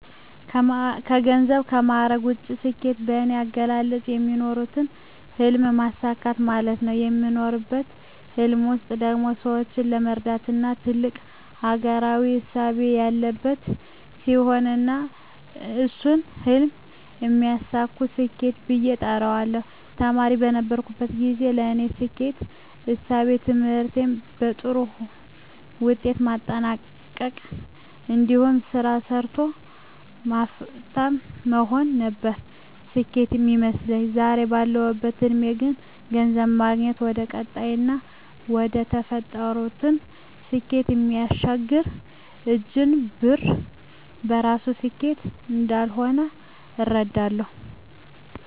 ከገንዘብና ከማዕረግ ውጭ፣ ስኬት በኔ አገላለጽ የሚኖሩለትን ህልም ማሳካት ማለት ነው። በሚኖሩለት ህልም ውስጥ ደግሞ ሰወችን የመርዳትና ትልቅ አገራዊ እሳቤ ያለበት ሲሆን እና እሱን ህልም ሲያሳኩ ስኬት ብየ እጠራዋለሁ። ተማሪ በነበርኩበት ግዜ የኔ ስኬት እሳቤ ትምህርቴን በጥሩ ውጤት ማጠናቅ እንዲሁም ስራ ሰርቶ ሀፍታም መሆን ነበር ስኬት ሚመስለኝ። ዛሬ ባለሁበት እድሜ ግን ገንዘብ ማግኘት ወደቀጣይና ወደተፈጠሩለት ስኬት እሚያሸጋግር እንጅ ብር በራሱ ስኬት እንዳልሆነ እረዳለሁ።